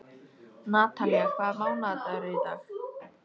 Natalía, hvaða mánaðardagur er í dag?